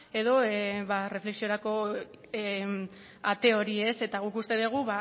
edo erreflexiorako ate hori eta guk uste dugu